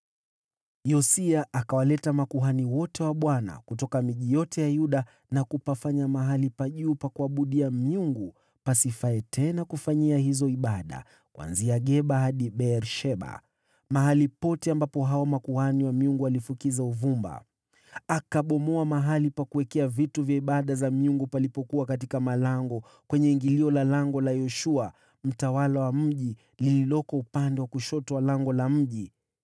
Yosia akawaleta makuhani wote wa Bwana kutoka miji yote ya Yuda, na kunajisi mahali pa juu pa kuabudia miungu, kuanzia Geba hadi Beer-Sheba, mahali pote ambapo hao makuhani wa miungu walifukiza uvumba. Akabomoa mahali pa kuwekea vitu vya ibada za miungu palipokuwa katika malango, kwenye ingilio la Lango la Yoshua, mtawala wa mji, lililoko upande wa kushoto wa lango la mji.